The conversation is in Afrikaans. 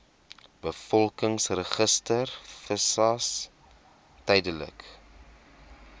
bevolkingsregister visas tydelike